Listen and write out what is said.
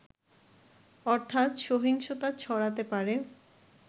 অর্থাৎ, সহিংসতা ছড়াতে পারে